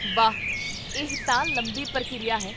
ਵਾਹ, ਇਹ ਤਾਂ ਲੰਬੀ ਪ੍ਰਕ੍ਰਿਆ ਹੈ